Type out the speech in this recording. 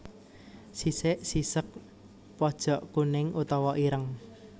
Sisik sisék pojok kuning utawa ireng